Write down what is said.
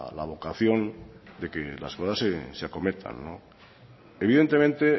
la vocación de que las cosas se acometan evidentemente